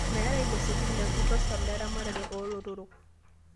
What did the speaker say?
Meeta losekin lekutosha leramatare oo lotorok